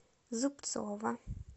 зубцова